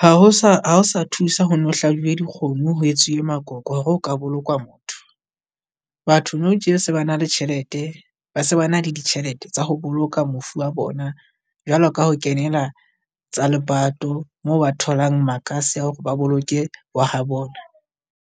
ha ho sa sa thusa ho no hlabiwe dikgomo ho etsuwe makoko hore o ka bolokwa motho. Batho nou tje se ba na le tjhelete, ba se ba na le ditjhelete tsa ho boloka mofu wa bona jwalo ka ho kenela tsa lepato, moo ba tholang makase a hore ba boloke wa ha bona.